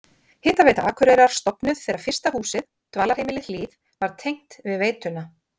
Hitaveita Akureyrar stofnuð þegar fyrsta húsið, dvalarheimilið Hlíð, var tengt við veituna.